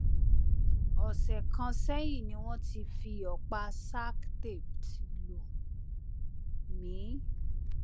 ọsẹ kan sẹyìn ni wọn ti fi ọpá sac tapped lù mí